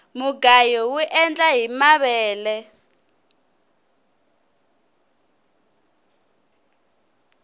mugayo uendla hi mavele